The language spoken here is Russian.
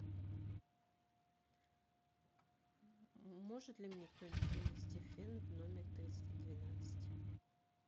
может ли мне кто нибудь принести фен в номер триста двенадцать